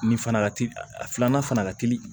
Ni fana ka teli a filanan fana ka teli